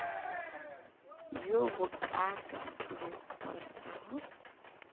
bjo bokaaka tumi ngwanaka hm